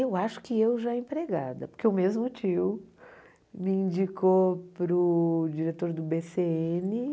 Eu acho que eu já empregada, porque o mesmo tio me indicou para o diretor do bê cê êne.